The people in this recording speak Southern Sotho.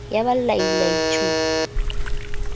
ya ba lai lai thu